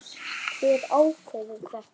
Hver ákveður þetta?